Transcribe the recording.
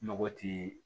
Nɔgɔ ti